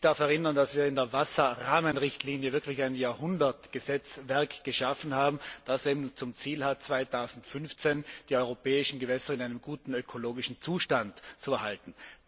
Ich darf erinnern, dass wir in der Wasserrahmenrichtlinie wirklich ein Jahrhundertgesetzwerk geschaffen haben, das zum Ziel hat, 2015 die europäischen Gewässer in einem guten ökologischen Zustand zu erhalten.